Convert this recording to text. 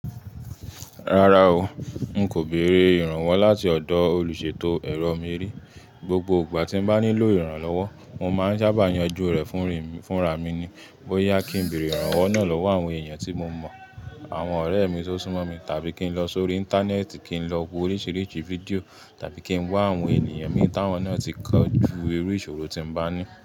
Rárá o, n kò béèrè ìrànwọ́ láti ọ̀dọ̀ olùṣètò ẹ̀rọ mí rí. Gbogbo gbà tí n bá nílò ìrànlọ́wọ́, mo máa ń sábà yanjú rẹ̀ fúnra mi ni. Bóyá kí n bèèrè ìrànwọ́ náà lọ́wọ́ àwọn èèyàn tí mo mọ̀, àwọn ọ̀rẹ́ mi tó súnmọ́ mi tàbí kí n lọ sórí Íńtánẹ́ẹ̀tì kí n lọ wo oríṣìíríṣìí fídíò tàbí kí n wá àwọn ènìyàn mi táwọn náà ti kọ́ ju eré ìṣòro tí n bá ní.